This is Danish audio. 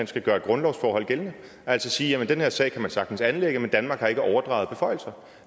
skal gøre et grundlovsforhold gældende og altså sige den her sag kan man sagtens anlægge men danmark har ikke overdraget beføjelser